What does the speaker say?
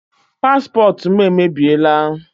Paspọtụ m emebiela.